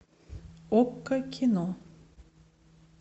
окко кино